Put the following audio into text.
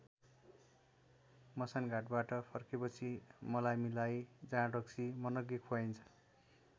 मसान घाटबाट फर्केपछि मलामीलाई जाँड रक्सी मनग्गे खुवाइन्छ।